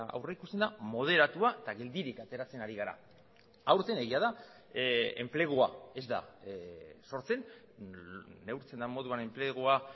aurrikusten da moderatua eta geldirik ateratzen ari gara aurten egia da enplegua ez da sortzen neurtzen den moduan enplegua